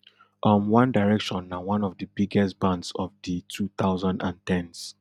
um one direction na one of di biggest bands of di two thousand and ten s